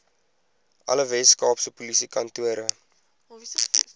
alle weskaapse polisiekantore